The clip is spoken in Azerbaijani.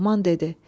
Loğman dedi: